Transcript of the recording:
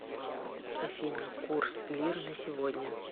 афина курс лир на сегодня